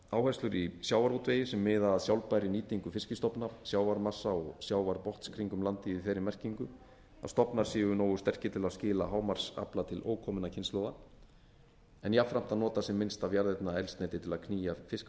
áherslur í sjávarútvegi sem miða að sjálfbærri nýtingu fiskstofna sjávarmassa og sjávarbotns kringum landið í þeirri merkingu að stofnar séu nógu sterkir til að skila hámarksafla til ókominna kynslóða en jafnframt að nota sem minnst af jarðefnaeldsneyti til að knýja